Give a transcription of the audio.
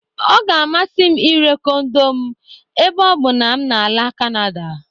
Ọ ga-amasị m ire kondo m ebe ọ bụ na m na-ala Kanada.